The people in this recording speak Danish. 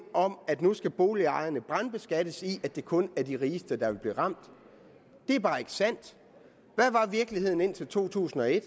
om at nu skal boligejerne brandskattes ind i at det kun er de rigeste der vil blive ramt det er bare ikke sandt hvad var virkeligheden indtil 2001